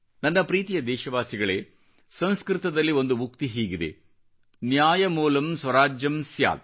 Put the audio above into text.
ನನ್ನ ಪ್ರೀತಿಯ ದೇಶವಾಸಿಗಳೇ ಸಂಸ್ಕೃತದಲ್ಲಿ ಒಂದು ಉಕ್ತಿ ಹೀಗಿದೆ ನ್ಯಾಯಮೂಲಂ ಸ್ವರಾಜ್ಯಂ ಸ್ಯಾತ್